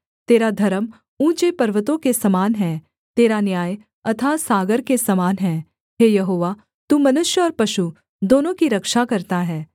तेरा धर्म ऊँचे पर्वतों के समान है तेरा न्याय अथाह सागर के समान हैं हे यहोवा तू मनुष्य और पशु दोनों की रक्षा करता है